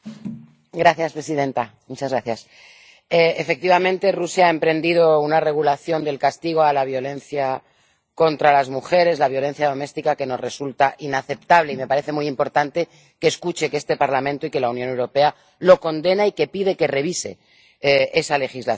Señora presidenta, efectivamente, Rusia ha emprendido una regulación del castigo a la violencia contra las mujeres, la violencia doméstica, que nos resulta inaceptable, y me parece muy importante que escuche que este Parlamento y que la Unión Europea lo condenan, y que piden que revise esa legislación.